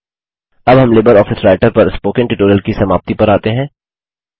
अब हम LibreOffice Writer पर स्पोकन ट्यूटोरियल की समाप्ति पर आते हैं